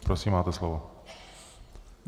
Prosím, máte slovo.